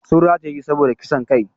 Sun rataye shi ne saboda kisan kai.